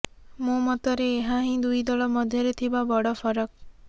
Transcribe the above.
ମୋ ମତରେ ଏହାହିଁ ଦୁଇ ଦଳ ମଧ୍ୟରେ ଥିବା ବଡ଼ ଫରକ୍